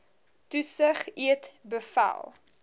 toesig eet beveel